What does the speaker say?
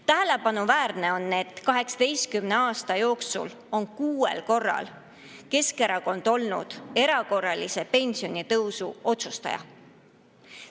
Tähelepanuväärne on, et 18 aasta jooksul on kuuel korral olnud Keskerakond erakorralise pensionitõusu otsustaja.